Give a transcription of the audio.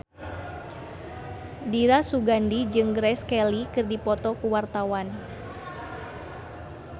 Dira Sugandi jeung Grace Kelly keur dipoto ku wartawan